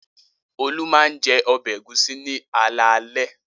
Olú máa ń jẹ ọbẹ̀ ẹ̀gúsí ní alaalẹ́.